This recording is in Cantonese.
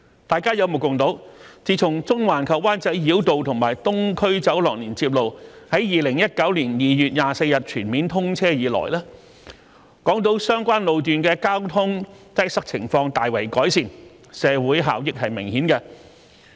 大家有目共睹，自從中環及灣仔繞道和東區走廊連接路於2019年2月24日全面通車以來，港島相關路段的交通擠塞情況大為改善，社會效益明顯。